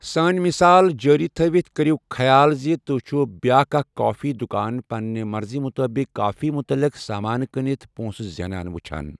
سٲنۍ مثال جٲری تھوِتھ کٔرِو خیال زِ تُہۍ چھِو بیاکھ اکھ کافی دُکان پننہِ مرضی مطٲبِق کافی مُتعلق سامان کٕنِتھ پوٚنٛسہٕ زینان وُچھان۔